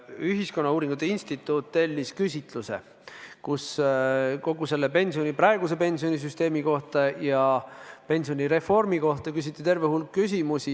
Ühiskonnauuringute Instituut tellis küsitluse, kus praeguse pensionisüsteemi kohta ja pensionireformi kohta küsiti terve hulk küsimusi.